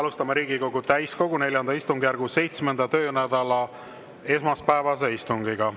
Alustame Riigikogu täiskogu IV istungjärgu 7. töönädala esmaspäevast istungit.